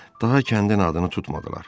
Daha kəndin adını tutmadılar.